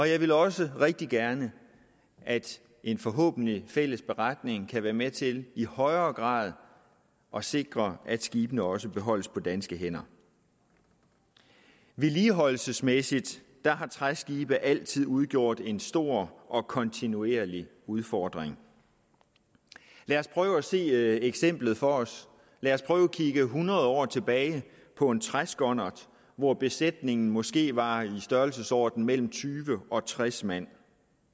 jeg vil også rigtig gerne at en forhåbentlig fælles beretning kan være med til i højere grad at sikre at skibene også beholdes på danske hænder vedligeholdelsesmæssigt set har træskibe altid udgjort en stor kontinuerlig udfordring lad os prøve at se eksemplet for os lad os prøve at kigge hundrede år tilbage på en træskonnert hvor besætningen måske var i størrelsesordenen mellem tyve og tres mand